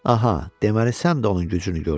Aha, deməli sən də onun gücünü gördün.